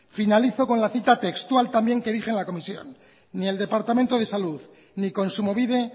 finalizo con la cita textual también que dije en la comisión ni el departamento de salud ni kontsumobide